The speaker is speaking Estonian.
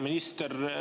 Hea minister!